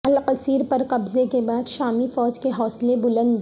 القصیر پر قبضہ کے بعد شامی فوج کے حوصلے بلند